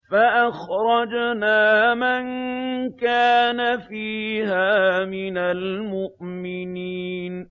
فَأَخْرَجْنَا مَن كَانَ فِيهَا مِنَ الْمُؤْمِنِينَ